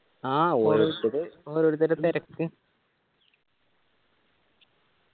ആ ഓരോരുത്തര് ഓരോരുത്തരെ തെരക്ക്